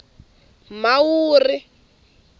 mhawuri